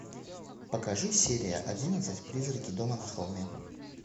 покажи серия одиннадцать призраки дома на холме